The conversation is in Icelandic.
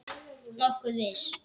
Nokkuð viss.